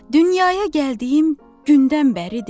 Dünyaya gəldiyim gündən bəridir.